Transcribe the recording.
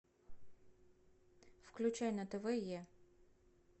включай на тв е